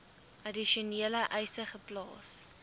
addisionele eise geplaas